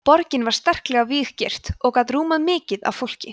borgin var sterklega víggirt og gat rúmað mikið af fólki